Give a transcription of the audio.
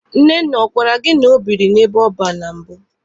Nnenna ọ gwara gị na ọ biri n'ebe ọban na mbụ?